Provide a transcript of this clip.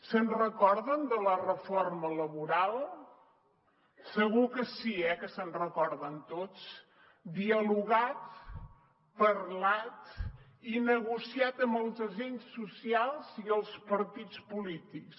se’n recorden de la reforma laboral segur que sí eh que se’n recorden tots dialogat parlat i negociat amb els agents socials i els partits polítics